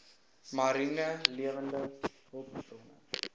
mariene lewende hulpbronne